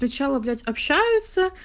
сначала блять общаются